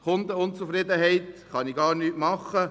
Bei Kundenunzufriedenheit könnte ich gar nichts tun.